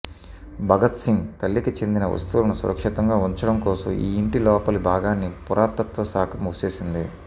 భగత్సింగ్ తల్లికి చెందిన వస్తువులను సురక్షితంగా ఉంచడం కోసం ఈ ఇంటి లోపలి భాగాన్ని పురాతత్వ శాఖ మూసేసింది